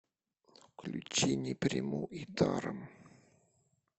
включи не приму и даром